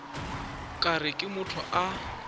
ka re ke motho a